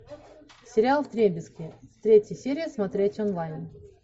сериал вдребезги третья серия смотреть онлайн